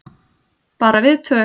Bara við tvö.